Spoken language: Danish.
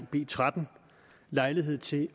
b tretten lejlighed til